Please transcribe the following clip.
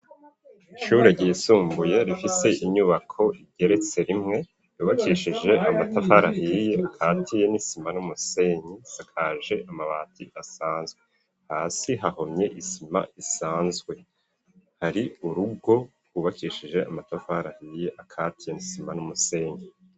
Ishure ryisumbuye rifise inyubako igeretse rimwe, ryubakishije amatafari ahiye akatiye n'isima n'umusenyi , asakaje amabati asanzwe hasi hahomye isima isanzwe, hari urugo rwubakishije amatafari ahiye akatiye nisima n'umusenyi.